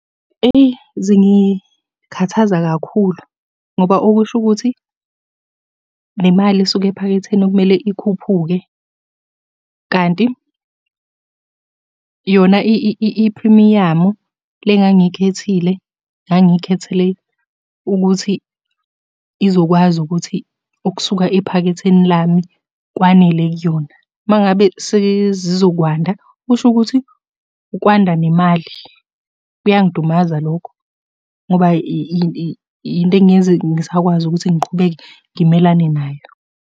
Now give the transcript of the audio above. Eyi zingikhathaza kakhulu, ngoba okusho ukuthi, le mali esuka ephaketheni okumele ikhuphuke kanti yona iphrimiyamu le engangiyikhethile, ngangikhethele ukuthi izokwazi ukuthi okusuka ephaketheni lami kwanele kuyona. Uma ngabe sezizokwanda, kusho ukuthi kwanda nemali. Kuyangidumaza lokhu ngoba into engingeke ngize ngisakwazi ukuthi ngiqhubeke ngimelane nayo.